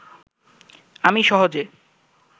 আমি সহজে